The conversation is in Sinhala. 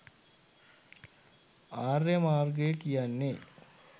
ආර්ය මාර්ගය කියන්නේ